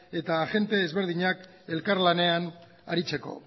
eta agente ezberdinak elkarlanean aritzeko